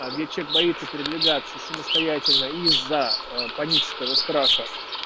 а где человек боится передвигаться самостоятельно из-за панического страха